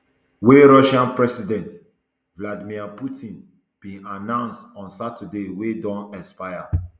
wey russian president vladimir putin bin announce on saturday wey don expire